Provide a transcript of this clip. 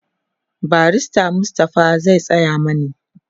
barrister Mustapha zai Tsaya mani